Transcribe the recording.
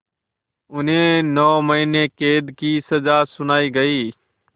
उन्हें नौ महीने क़ैद की सज़ा सुनाई गई